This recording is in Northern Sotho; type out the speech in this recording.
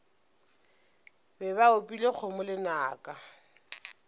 be ba opile kgomo lenaka